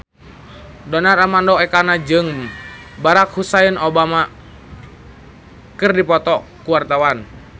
Donar Armando Ekana jeung Barack Hussein Obama keur dipoto ku wartawan